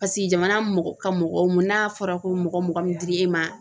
Paseke jamana mɔgɔ ka mɔgɔw mun n'a fɔra ko mɔgɔ mɔgɔ min dir'e ma